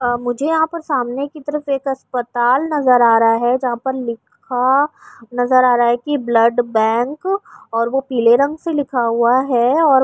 آ مجھے یہاں سامنے کی طرف ایک اسپتال نظر آ رہا ہے۔ جہاں پر لکھا نظر آ رہا ہے کی بلڈ بینک اور وو پیلے رنگ سے لکھا ہوا ہے اور --